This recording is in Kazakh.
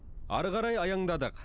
ары қарай аяңдадық